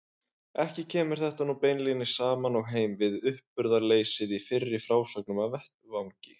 Ekki kemur þetta nú beinlínis saman og heim við uppburðarleysið í fyrri frásögnum af vettvangi.